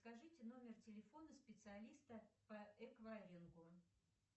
скажите номер телефона специалиста по эквайрингу